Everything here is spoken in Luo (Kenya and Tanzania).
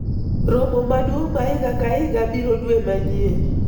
romo maduong' ma higa ka higa biro dwe manyien